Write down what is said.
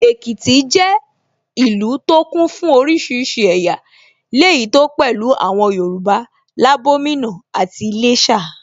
Èkìtì jẹ́ ìlú tó kún fún oríṣiríṣi ẹ̀yà, léyìí tó pẹ̀lú àwọn Yorùbá, Labomina àti Iléshà